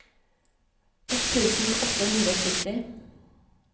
ett tusen åtte hundre og sytti